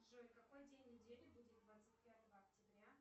джой какой день недели будет двадцать пятого октября